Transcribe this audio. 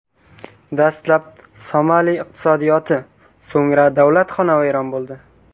Dastlab, Somali iqtisodiyoti, so‘ngra davlat xonavayron bo‘ldi.